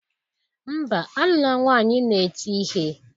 Mba, alula nwanyi na-eti ihe